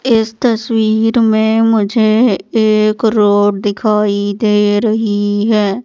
इस तस्वीर में मुझे एक रोड दिखाई दे रही हैं।